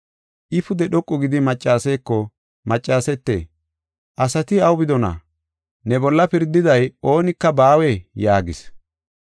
I pude dhoqu gidi maccaseeko, “Maccasete, asati aw bidonaa? Ne bolla pirdiday oonika baawee?” yaagis.